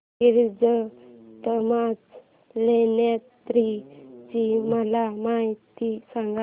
गिरिजात्मज लेण्याद्री ची मला माहिती सांग